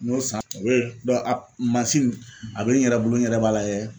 N'o san mansin in a be n yɛrɛ bolo n yɛrɛ b'a lajɛ